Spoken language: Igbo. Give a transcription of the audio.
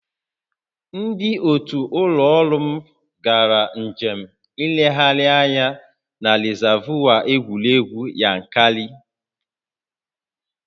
Ndị otu ụlọ ọrụ m gara njem nlegharị anya na rịzaavụ egwuregwu Yankari